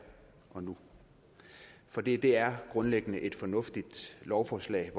og nu for det er grundlæggende et fornuftigt lovforslag